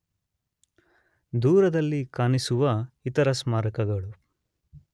ದೂರದಲ್ಲಿ ಕಾಣಿಸುವ ಇತರ ಸ್ಮಾರಕಗಳು